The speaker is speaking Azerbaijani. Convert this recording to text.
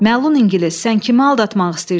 Məlun ingilis, sən kimi aldatmaq istəyirsən?